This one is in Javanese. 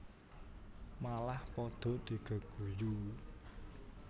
Malah padha digeguyu